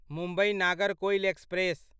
Mumbai Nagercoil express